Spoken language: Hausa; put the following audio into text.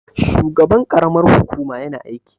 shugaban karamar hukuma yana aiki?